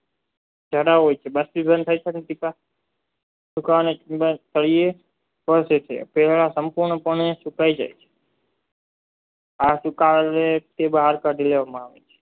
તેઓ સંપૂર્ણ પણ સુકાય જાય આ સુકાઓને બહાર કાઢી લેવામાં આવે છે